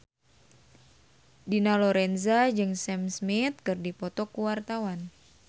Dina Lorenza jeung Sam Smith keur dipoto ku wartawan